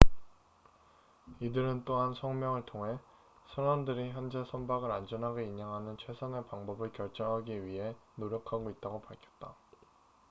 "이들은 또한 성명을 통해 "선원들이 현재 선박을 안전하게 인양하는 최선의 방법을 결정하기 위해 노력하고 있다""고 밝혔다.